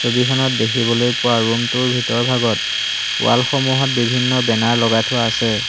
ছবিখনত দেখিবলৈ পোৱা ৰূম টোৰ ভিতৰ ভাগত ৱাল সমূহত বিভিন্ন বেনাৰ লগাই থোৱা আছে।